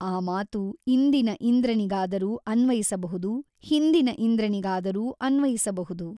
ಆ ಮಾತು ಇಂದಿನ ಇಂದ್ರನಿಗಾದರೂ ಅನ್ವಯಿಸಬಹುದು ಹಿಂದಿನ ಇಂದ್ರನಿಗಾದರೂ ಅನ್ವಯಿಸಬಹುದು.